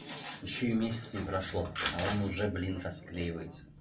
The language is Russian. ещё и месяца не прошло а он уже блин расклеивается